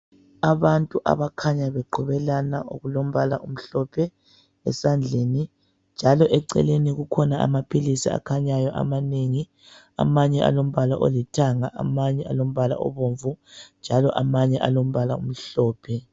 Abantu abakhanya beqhubelana okulombala omhlophe esandleni njalo eceleni kukhona amaphilisi akhanyayo amanengi amanye alombala olithanga amanye alombala obomvu njalo amanye alombala omhlophe.